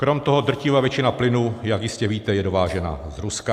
Krom toho drtivá většina plynu, jak jistě víte, je dovážena z Ruska.